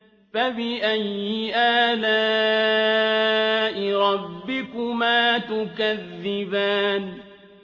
فَبِأَيِّ آلَاءِ رَبِّكُمَا تُكَذِّبَانِ